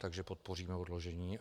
Takže podpoříme odložení.